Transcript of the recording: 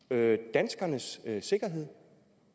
danskernes sikkerhed